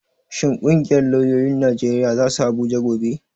Shin ƙungiyar lauyoyin Najeriya za su Abuja gobe?